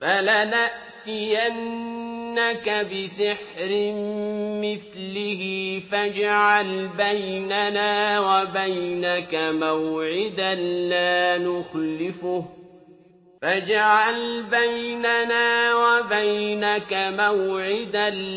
فَلَنَأْتِيَنَّكَ بِسِحْرٍ مِّثْلِهِ فَاجْعَلْ بَيْنَنَا وَبَيْنَكَ مَوْعِدًا